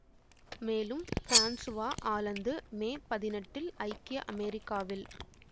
மேலும் Francois Hollande மே பதினெட்டில் ஐக்கிய அமெரிக்காவில்